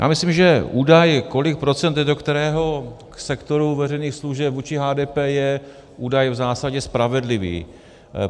Já myslím, že údaj, kolik procent jde do kterého sektoru veřejných služeb vůči HDP, je údaj v zásadě spravedlivý.